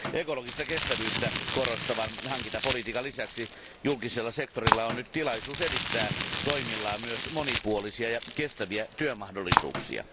Ekologista kestävyyttä korostavan hankintapolitiikan lisäksi julkisella sektorilla on nyt tilaisuus edistää toimillaan myös monipuolisia ja kestäviä työmahdollisuuksia.